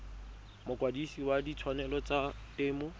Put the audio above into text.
mokwadise wa ditshwanelo tsa temo